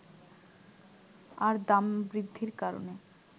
আর দাম বৃদ্ধির কারণে